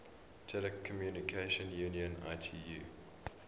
telecommunication union itu